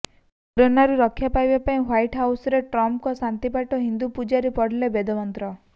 କରୋନାରୁ ରକ୍ଷା ପାଇଁ ହ୍ୱାଇଟ୍ ହାଉସରେ ଟ୍ରମ୍ପଙ୍କ ଶାନ୍ତିପାଠ ହିନ୍ଦୁ ପୂଜାରୀ ପଢିଲେ ବେଦମନ୍ତ୍ର